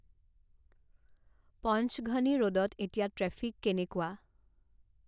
পঞ্চঘনী ৰ'ডত এতিয়া ট্ৰেফিক কেনেকুৱা